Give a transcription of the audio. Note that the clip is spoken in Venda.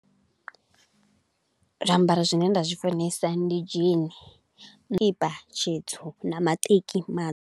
Zwiambaro zwi ne nda zwi funesa ndi jean, tshikipa tshitsu na maṱeki matsu.